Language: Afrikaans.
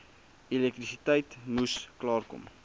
elektrisiteit moes klaarkom